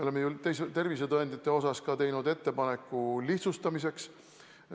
Oleme teinud ettepaneku lihtsustada tervisetõendite taotlemist.